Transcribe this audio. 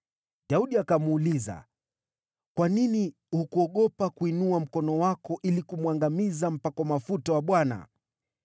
Daudi akamuuliza, “Kwa nini hukuogopa kuinua mkono wako ili kumwangamiza mpakwa mafuta wa Bwana ?”